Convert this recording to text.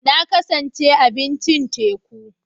Na kan ci abincin teku.